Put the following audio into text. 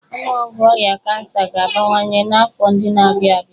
Ọnụọgụgụ ọrịa kansa ga-abawanye n'afọ ndị na-abịa abịa.